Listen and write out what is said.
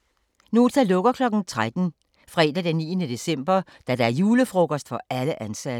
Nota lukker kl. 13 fredag den 9. december da der er julefrokost for alle ansatte.